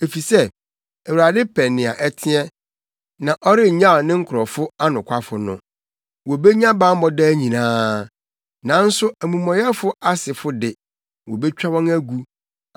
Efisɛ, Awurade pɛ nea ɛteɛ, na ɔrennyaw ne nkurɔfo anokwafo no. Wobenya bammɔ daa nyinaa. Nanso amumɔyɛfo asefo de, wobetwa wɔn agu.